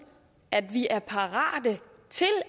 fra